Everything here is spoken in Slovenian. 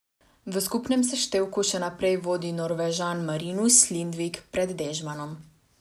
V skupnem seštevku še naprej vodi Norvežan Marinus Lindvik pred Dežmanom.